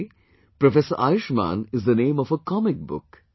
Actually Professor Ayushman is the name of a comic book